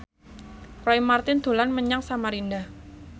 Roy Marten dolan menyang Samarinda